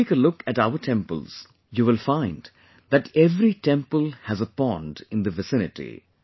If you take a look at our temples, you will find that every temple has a pond in the vicinity